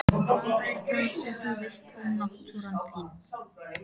Hvað er það sem þú vilt ónáttúran þín?